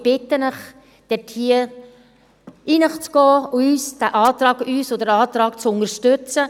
Ich bitte Sie, in sich zu gehen und uns und unseren Antrag zu unterstützen.